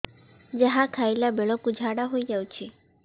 ଯାହା ଖାଇଲା ବେଳକୁ ଝାଡ଼ା ହୋଇ ଯାଉଛି